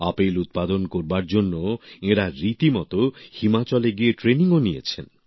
apple উৎপাদন করার জন্য এঁরা রীতিমতো হিমাচলে গিয়ে ট্রেনিংও নিয়েছেন